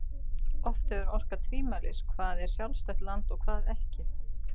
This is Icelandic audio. Oft getur orkað tvímælis hvað er sjálfstætt land og hvað ekki.